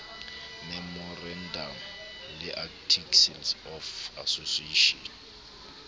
memorandamo le articles of association